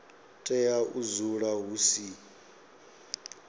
tea u dzula hu si